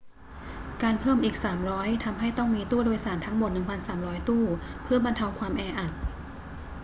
การเพิ่มอีก 300 ทำให้ต้องมีตู้โดยสารทั้งหมด 1,300 ตู้เพื่อบรรเทาความแออัด